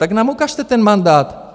Tak nám ukažte ten mandát.